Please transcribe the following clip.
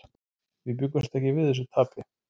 Við bjuggumst ekki við þessu tapi.